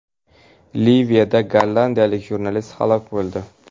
Liviyada gollandiyalik jurnalist halok bo‘ldi.